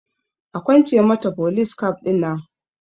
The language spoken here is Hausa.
Akwance mata folis kaf ɗinan